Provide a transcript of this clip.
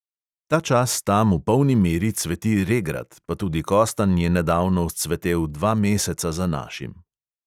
Ta čas tam v polni meri cveti regrat, pa tudi kostanj je nedavno vzcvetel dva meseca za našim.